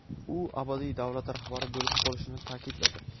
u abadiy davlat rahbari bo‘lib qolishini ta’kidladi.